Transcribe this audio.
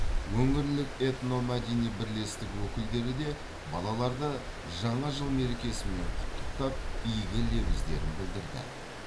өңірлік этномәдени бірлестік өкілдері де балаларды жаңа жыл мерекесімен құттықтап игі лебіздерін білдірді